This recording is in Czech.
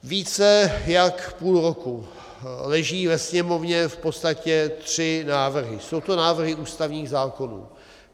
Více jak půl roku leží ve Sněmovně v podstatě tři návrhy, jsou to návrhy ústavních zákonů.